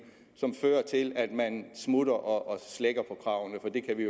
fører til at man smutter og slækker på kravene